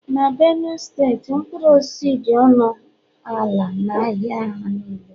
na Benue steeti mkpụrụ osisi dị ọnụ ala n'ahịa ha niile